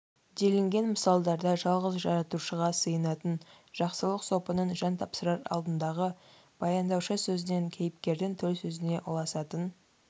делінген мысалдарда жалғыз жаратушыға сыйынатын жақсылық сопының жан тапсырар алдындағы баяндаушы сөзінен кейіпкердің төл сөзіне ұласатын